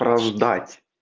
раздать